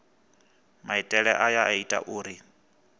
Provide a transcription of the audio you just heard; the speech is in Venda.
maitele aya a ita uri